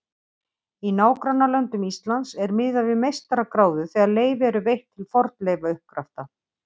Í nágrannalöndum Íslands er miðað við meistaragráðu þegar leyfi eru veitt til fornleifauppgrafta.